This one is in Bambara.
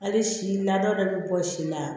Hali si lada dɔ bɛ bɔ si la